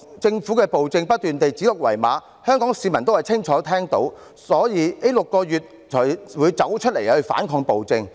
政府的暴政不斷指鹿為馬，香港市民也清楚聽到，所以這6個月才會走出來反抗暴政。